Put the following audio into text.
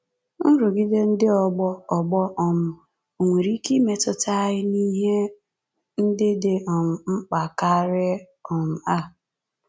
Nrụgide ndị ọgbọ ọgbọ um ò nwere ike imetụta anyị n’ihe ndị dị um mkpa karị um a?